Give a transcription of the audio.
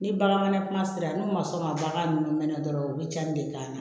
Ni bagan mana kuma sera n'u ma sɔn ka bagan ninnu mɛn dɔrɔn u bɛ cɛnni de k'a la